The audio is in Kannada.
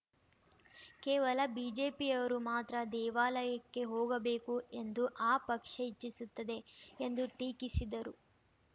ಕೇವಲ ಬಿಜೆಪಿಯವರು ಮಾತ್ರ ದೇವಾಲಯಕ್ಕೆ ಹೋಗಬೇಕು ಎಂದು ಆ ಪಕ್ಷ ಇಚ್ಛಿಸುತ್ತದೆ ಎಂದು ಟೀಕಿಸಿದರು